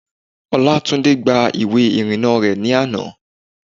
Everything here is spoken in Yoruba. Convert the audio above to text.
Olátúndé gba ìwé ìrìnnà rẹ̀ ní àná